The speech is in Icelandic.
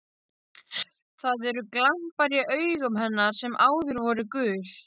Það eru glampar í augum hennar sem áður voru gul.